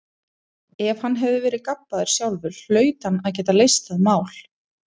Ef hann hafði verið gabbaður sjálfur hlaut hann að geta leyst það mál.